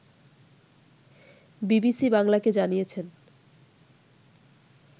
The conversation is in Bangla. বিবিসি বাংলাকে জানিয়েছেন